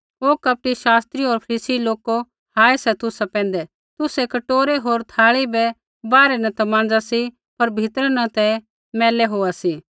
ओ कपटी शास्त्रिओ होर फरीसी लोको हाय सा तुसा पैंधै तुसै कटोरै होर थाल़ी बै बाहरै न ता माँज़ा सी पर भीतरै न ते मैली होआ सी